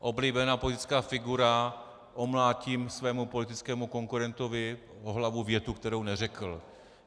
Oblíbená politická figura - omlátím svému politickému konkurentovi o hlavu větu, kterou neřekl.